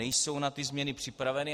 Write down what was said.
Nejsou na ty změny připraveny.